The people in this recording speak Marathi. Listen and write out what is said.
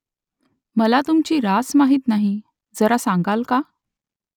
मला तुमची रास माहीत नाही . जरा सांगाल का ?